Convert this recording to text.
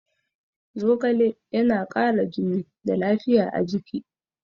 Zogale yana kara jini da lafiya a jiki